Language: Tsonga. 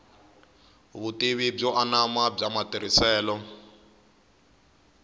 vutivi byo anama bya matirhiselo